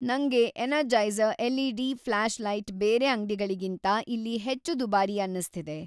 ನಂಗೆ Energizer LED. Flashlight ಬೇರೆ ಅಂಗ್ಡಿಗಳಿಗಿಂತ ಇಲ್ಲಿ ಹೆಚ್ಚು ದುಬಾರಿ ಅನ್ನಿಸ್ತಿದೆ.